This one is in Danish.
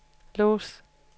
lås